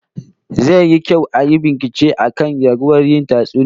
Zai yi kyau ayi bincike akan raguwar yin tatsuniyoyi